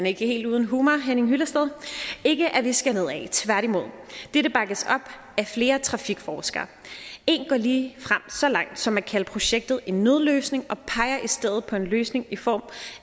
ikke helt uden humor henning hyllested ikke at vi skal nedad tværtimod dette bakkes op af flere trafikforskere en går ligefrem så langt som at kalde projektet en nødløsning og peger i stedet på en løsning i form